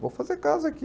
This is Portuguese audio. Vou fazer casa aqui.